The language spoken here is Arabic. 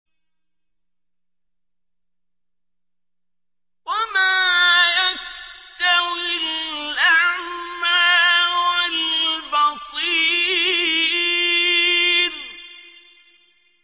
وَمَا يَسْتَوِي الْأَعْمَىٰ وَالْبَصِيرُ